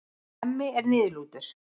Hemmi er niðurlútur.